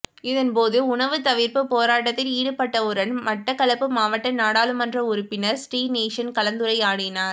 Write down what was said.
இதன்போது உணவு தவிர்ப்பு போராட்டத்தில் ஈடுபட்டவருடன் மட்டக்களப்பு மாவட்ட நாடாளுமன்ற உறுப்பினர் ஸ்ரீநேசன் கலந்துரையாடினார்